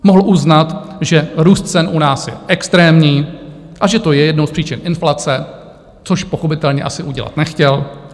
Mohl uznat, že růst cen u nás je extrémní a že to je jednou z příčin inflace, což pochopitelně asi udělat nechtěl.